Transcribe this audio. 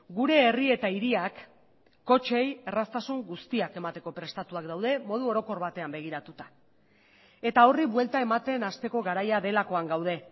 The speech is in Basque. gure herri eta hiriak kotxeei erraztasun guztiak emateko prestatuak daude modu orokor batean begiratuta eta horri buelta ematen hasteko garaia delakoan gaude